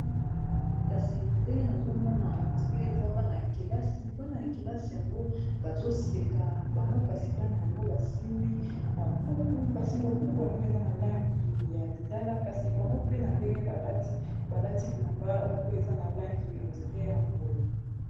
kasi na ndenge nazomona ondire eza bana yakelasi bana yakelasi yango bazoseka bango kasi bana yango basimbi babuku kasi babuku yango eza na langi ya lilala kasi bango pe na ndenge balati balati lilamba moko eza na langi ondré ya mbwe